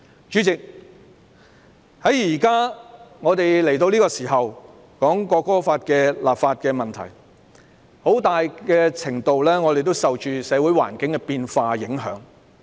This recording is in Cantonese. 主席，我們這時討論《條例草案》的立法問題，很大程度上也受到社會環境變化的影響。